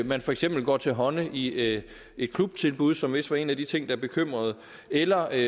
man for eksempel går til hånde i et klubtilbud som vist var en af de ting der bekymrede eller er